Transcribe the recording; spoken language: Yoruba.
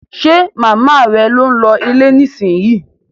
Ṣe màmá rẹ ń lọ ilé nísìnyí?